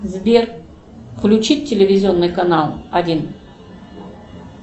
сбер включить телевизионный канал один